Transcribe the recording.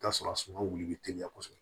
I bi t'a sɔrɔ a suma wuli bi teliya kosɛbɛ